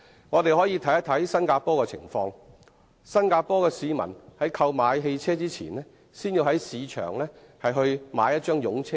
我們可以看看新加坡的情況，當地市民在購買汽車前，必須先在市場購買一張"擁車證"。